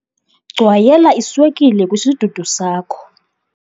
Gcwayela iswekile kwisidudu sakho